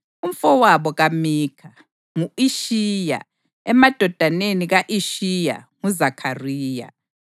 Umfowabo kaMikha: ngu-Ishiya; emadodaneni ka-Ishiya: nguZakhariya.